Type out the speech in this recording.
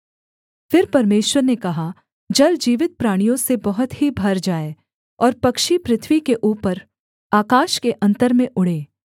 फिर परमेश्वर ने कहा जल जीवित प्राणियों से बहुत ही भर जाए और पक्षी पृथ्वी के ऊपर आकाश के अन्तर में उड़ें